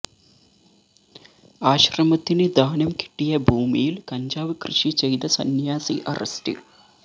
ആശ്രമത്തിന് ദാനം കിട്ടിയ ഭൂമിയില് കഞ്ചാവ് കൃഷി ചെയ്ത സന്യാസി അറസ്റ്റില്